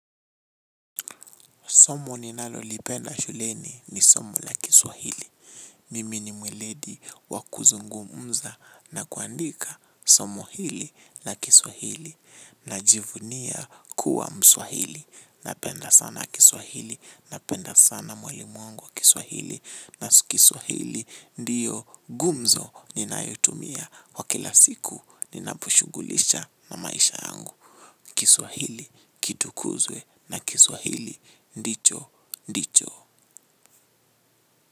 Somo ninalolipenda shuleni ni somo la kiswahili. Mimi ni mweledi wa kuzungumza na kuandikq somo hili la kiswahili. Najivunia kuwa mswahili. Napenda sana kiswahili. Napenda sana mwalimu wangu wa kiswahili. Na kiswahili ndiyo gumzo ninayotumia kwa kila siku ninaposhughulisha na maisha yangu. Kiswahili kitukuzwe na kiswahili ndicho ndicho.